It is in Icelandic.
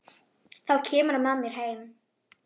Þá kemurðu með mér heim.